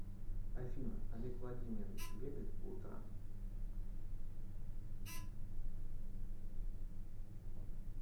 афина олег владимирович бегает по утрам